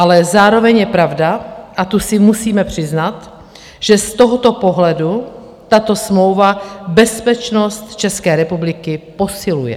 Ale zároveň je pravda, a tu si musíme přiznat, že z tohoto pohledu tato smlouva bezpečnost České republiky posiluje.